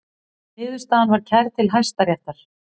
Niðurstaðan var kærð til Hæstaréttar